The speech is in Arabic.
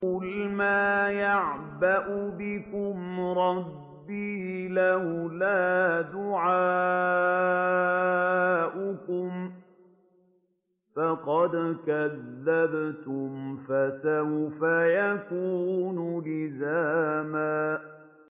قُلْ مَا يَعْبَأُ بِكُمْ رَبِّي لَوْلَا دُعَاؤُكُمْ ۖ فَقَدْ كَذَّبْتُمْ فَسَوْفَ يَكُونُ لِزَامًا